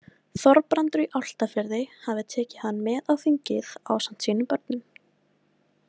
Þorbrandur í Álftafirði hafði tekið hann með á þingið ásamt sínum börnum.